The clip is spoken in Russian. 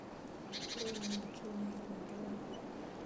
открой ник джуниор на тв